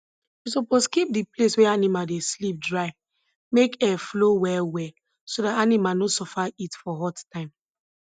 we suppose keep di place wey animal dey sleep dry make air flow well well so dat animal no suffer heat for hot time